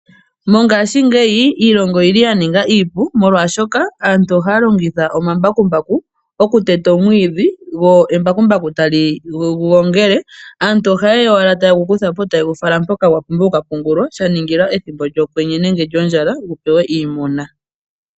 Mongashingeyi iilonga oyili ya ninga iipu. Molwashoka aantu ohaa longitha omambakumbaku oku teta omwiidhi. Go embakumbaku tali gu gongele. Aantu oha yeya owala tayegu kuthapo taye gu fala mpoka gwa pumbiwa oku ka pungulwa. Sha ningila ethimbo lyokwenye nenge lyondjala gu pewe iimuna.